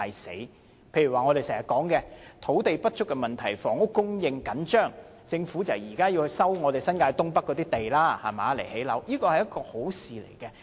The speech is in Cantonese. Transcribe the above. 舉例說，我們經常提到土地不足、房屋供應緊張，政府現在要收回新界東北的土地來建屋，這是好事。